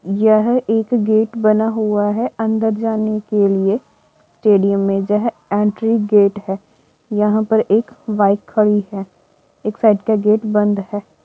यह एक गेट बना हुआ है अंदर जाने के लिए स्टेडियम में जहां एंट्री गेट है यहां पर एक बाइक खड़ी है एक साइड का गेट बंद है।